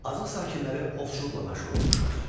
Azıq sakinləri ovçuluqla məşğul olmuşlar.